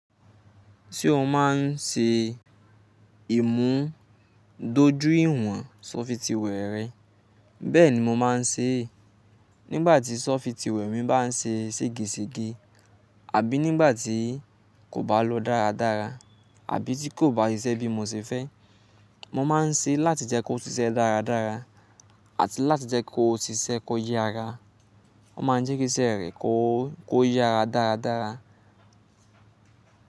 Ṣé o máa ń ṣe ìmúdójú ìwọ̀n software rẹ? Bẹ́ẹ̀ni, mo máa ń ṣe é. Nígbà tí software mi bá ń ṣe sege sege àbí nígbà tí kò bá lọ dáradára, àbí tí kò bá ṣiṣẹ́ bí mo ṣe fẹ́, mo máa ń ṣe láti jẹ́ kó ṣiṣẹ́ dáradára àti láti jẹ́ kó ṣiṣẹ́ kó yára. Ọ́ máa ń jẹ́ kí iṣẹ́ rẹ kó ko yára dáradára.